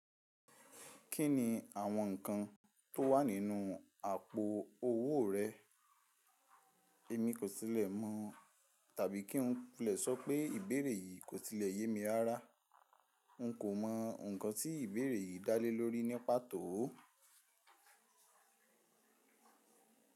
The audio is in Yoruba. Kí ni àwọn ǹkan tó wà nínú àpò owó rẹ? Èmi kò tilẹ̀ mọ tàbí kí n lè sọ pé ìbéèrè yìí kò tilẹ̀ yé mi rára. N kò mọ ǹkan tí ìbéèrè yìí dá lé lórí ní pàtó o.